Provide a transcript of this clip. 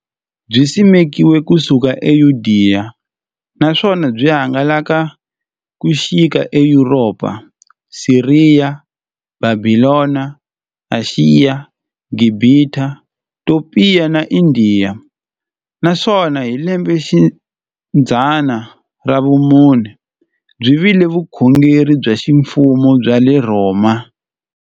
Byisimekiwe ku suka eYudeya, naswona byi hangalake ku xika eYuropa, Siriya, Bhabhilona, Ashiya, Gibhita, Topiya na Indiya, naswona hi lembexidzana ra vumune byi vile vukhongeri bya ximfumo bya le Rhoma.